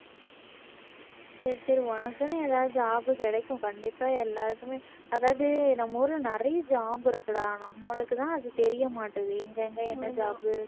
சரி சரி உனக்குன்னு ஏதாவது job கிடைக்கும் கண்டிப்பா எல்லாருக்குமே அதாவது நம்ம ஊர்ல நிறைய job இருக்குடா நம்மளுக்கு தான் அது தெரிய மாட்டுது எங்க எங்க என்ன job உ